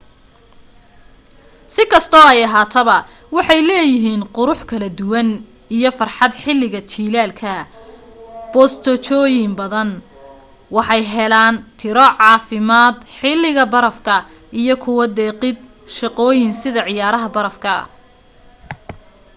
si kastoo ay ahaataba waxay leeyahiin qurux kala duwan iyo farxad xiliga jilaalka bosteeojoyin badan waxay heelan tiro caafirmad xiliga barafka iyo ku deeqid shaqooyin sida ciyaaraha baraf ka